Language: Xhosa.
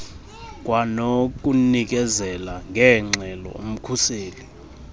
kwanokunikezela ngeengxelo umkhuseli